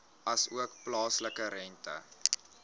asook plaaslike rente